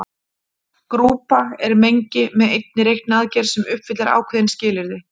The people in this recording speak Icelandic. Grúpa er mengi með einni reikniaðgerð sem uppfyllir ákveðin skilyrði.